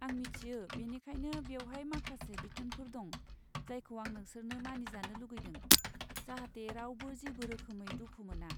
आं मिथियो, बेनिखायनो बेवहाय माखासे बिथोनफोर दं, जायखौ आं नोंसोरखौ मानिजानो लुगैदों, जाहाथे रावबो जेबो रोखोमै दुखु मोना।